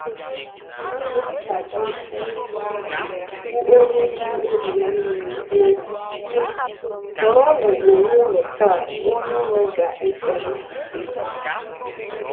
Dịrị ka Jọshụa, bụ́ onye ji obi ya nile kwuo, sị: “ Họrọnụ onwe unu taa onye unu ga-efe ofufe...